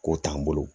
K'o t'an bolo